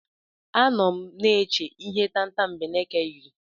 Anọ m na-eche ihe tatambeneke yiri.